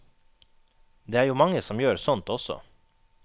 Det er jo mange som gjør sånt også.